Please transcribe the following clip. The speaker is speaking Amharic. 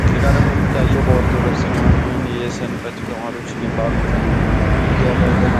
ከዚህ ጋ ደግሞ የሚታዩት በኦርቶዶክስ እምነት አማናውያን የሰንበት ተመሪዎች የሚባሉትኝ የበገነ